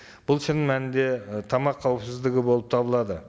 бұл шын мәнінде ы тамақ қауіпсіздігі болып табылады